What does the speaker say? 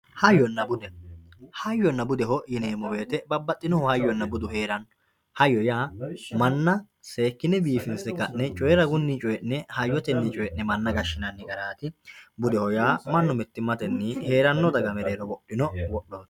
Hayyonna bude, hayyonna budeho yineemo woyitte babaxinohu hayyonna budu heeranno hayyo yaa mana seekkine biifinse ka'ne coyira ragunni coyi'ne hayyottenni coyi'ne mana gashinanni garati, budeho yaa mitimattenni heerrano daga mereerro wodhino wodhooti